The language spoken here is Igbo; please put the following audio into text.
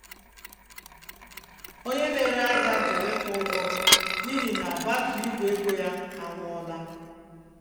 Onye na-ere ahịa jụrụ ịkwụ ụgwọ m n'ihi na batrị Igwe ego ya anwụọla.